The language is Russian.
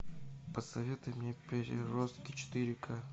посоветуй мне переростки четыре ка